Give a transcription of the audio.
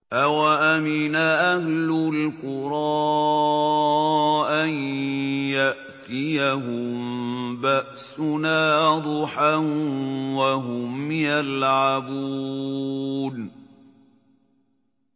أَوَأَمِنَ أَهْلُ الْقُرَىٰ أَن يَأْتِيَهُم بَأْسُنَا ضُحًى وَهُمْ يَلْعَبُونَ